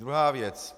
Druhá věc.